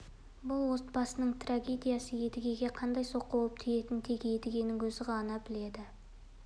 бұл отбасының трагедиясы едігеге қандай соққы болып тигенін тек едігенің өзі ғана біледі